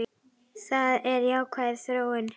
Það er jákvæð þróun.